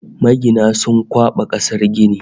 Magina sun kwaɓa kasar gini